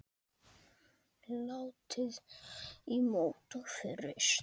Látið í mót og fryst.